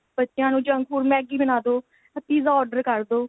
ਬੱਚਿਆ ਨੂੰ junk food Maggie ਬਣਾ ਦੋ ਜਾਂ pizza order ਕ਼ਰਦੋ